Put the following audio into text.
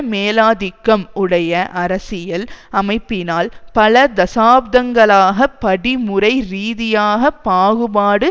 மேலாதிக்கம் உடைய அரசியல் அமைப்பினால் பல தசாப்தங்களாக படிமுறை ரீதியாக பாகுபாடு